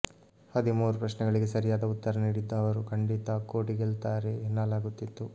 ಹದಿಮೂರು ಪ್ರಶ್ನೆಗಳಿಗೆ ಸರಿಯಾದ ಉತ್ತರ ನೀಡಿದ್ದ ಅವರು ಖಂಡಿತಾ ಕೋಟಿ ಗೆಲ್ತಾರೆ ಎನ್ನಲಾಗುತ್ತಿತ್ತು